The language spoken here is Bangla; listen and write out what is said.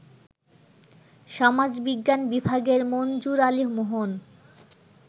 সমাজবিজ্ঞান বিভাগের মনজুর আলী মোহন